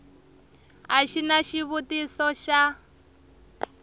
a xi na xivutiso xa